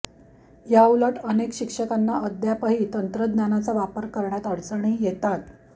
याउलट अनेक शिक्षकांना अद्यापही तंत्रज्ञानाचा वापर करण्यात अडचणी येतात